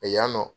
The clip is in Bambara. Yan nɔ